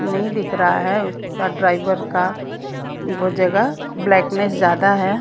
नहीं दिख रहा है उसका ड्राइवर का वो जगह ब्लैकनेस ज्यादा है।